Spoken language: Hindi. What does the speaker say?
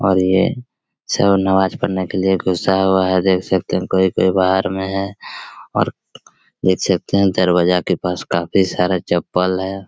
और ये सब नमाज पढ़ने के लिए घुसा हुआ हैं देख सकते हैं कोई-कोई बाहर में है और देख सकते हैं दरवाजा के पास काफी सारा चप्पल हैं।